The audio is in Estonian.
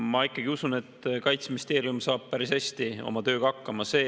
Ma ikkagi usun, et Kaitseministeerium saab päris hästi oma tööga hakkama.